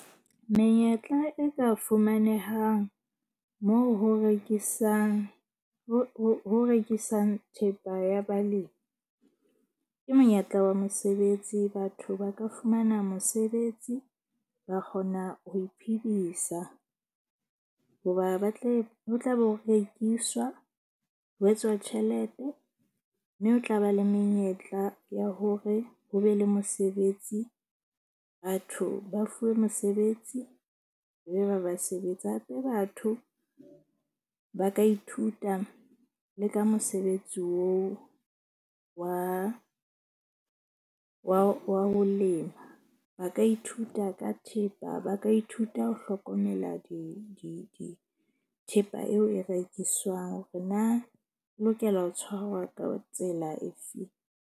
Menyetla e ka fumanehang mo ho rekisang ho rekisang thepa ya balemi ke monyetla wa mosebetsi. Batho ba ka fumana mosebetsi ba kgona ho iphedisa, hoba ba tle ho tla be ho rekiswa, ho etswa tjhelete. Mme ho tla ba le menyetla ya hore ho be le mosebetsi. Batho ba fuwe mosebetsi e be ba ba sebetsa. Hape batho ba ka ithuta le ka mosebetsi oo wa ho lema. Ba ka ithuta ka thepa ba ka ithuta ho hlokomela di thepa eo e rekiswang hore na o lokela ho tshwarwa ka tsela efeng.